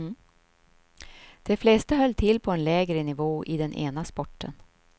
De flesta höll till på en lägre nivå i den ena sporten.